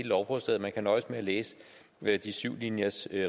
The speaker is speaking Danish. lovforslaget man kan nøjes med at læse de syv linjers